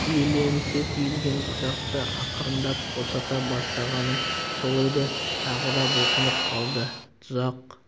шиеленісе түйілген тұзақты ақырындап босата бастағаным сол еді тағы да бұлқынып қалды тұзақ